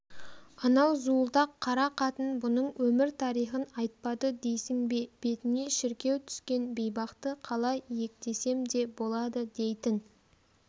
анау зуылдақ қара қатын бұның өмір-тарихын айтпады дейсің бе бетіне шіркеу түскен бейбақты қалай иектесем де болады дейтін